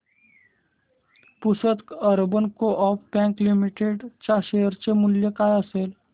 Pusad urban coop bank limited च्या share चे मूल्य काय असेल